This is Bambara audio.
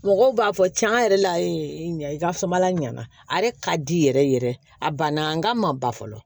Mɔgɔw b'a fɔ cɛn yɛrɛ la ɲa i ka samara ɲana a yɛrɛ ka di yɛrɛ yɛrɛ a banna n ka ma ba fɔlɔ